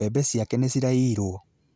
Mbebe ciake nĩ ciraiirwo